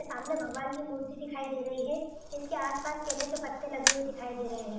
सामने भगवान की मूर्ति दिखाई दे रही है जिसके आस-पास केले के पत्ते लगे हुए दिखाई दे रहे हैं ।